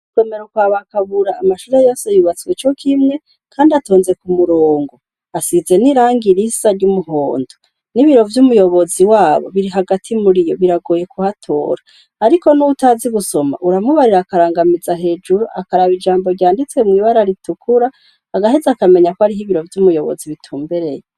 Mw'isomero kwa ba Kabura amashure yose yubatse co kimwe, kandi atonze ku murongo. Asize n'irangi risa ry'umuhondo; N'ibiro vy'umuyobozi wabo biri hagati muri yo, biragoye kuhatora. Ariko n'uwutazi gusoma uramubarira akarangamiza hejuru akaraba ijambo ryanditse mw' ibara ritukura, agaheza akamenya ko ariho ibiro vy'umuyobozi bitumbereye.